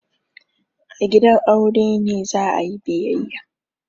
A gidan aure ne za a yi biyayya.